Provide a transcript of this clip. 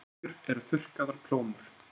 Sveskjur eru þurrkaðar plómur.